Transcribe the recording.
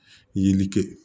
Yiri kɛ